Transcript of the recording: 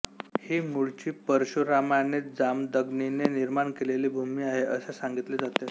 ही मुळची परशुरामाने जामदग्नीने निर्माण केलेली भूमी आहे असे सांगितले जाते